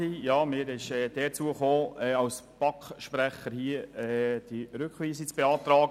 der BaK. Mir ist die Ehre zugefallen, diese Rückweisungen hier als BaK-Sprecher zu beantragen.